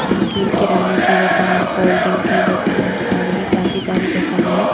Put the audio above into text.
जो कि किराणे की दुकान कोल्ड ड्रिंक की दुकान और भी काफी सारी दुकाने है।